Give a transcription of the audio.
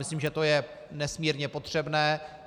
Myslím, že to je nesmírně potřebné.